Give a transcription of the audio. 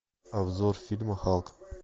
обзор фильма халк